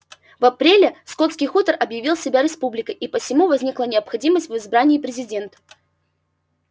в апреле скотский хутор объявил себя республикой и посему возникла необходимость в избрании президента